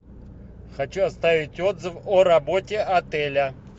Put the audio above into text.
хочу оставить отзыв о работе отеля